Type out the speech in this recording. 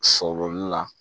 Sɔ bolili la